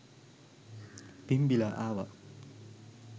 පිම්බිලා ආවා.